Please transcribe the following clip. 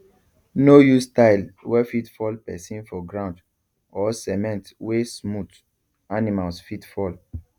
no use tile wey fit fall person for ground or cement wey smooth animals fit fall